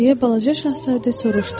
Deyə balaca şahzadə soruşdu.